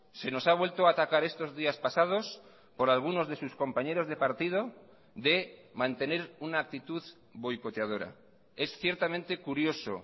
se nos ha vuelto a atacar estos días pasados por algunos de sus compañeros de partido de mantener una actitud boicoteadora es ciertamente curioso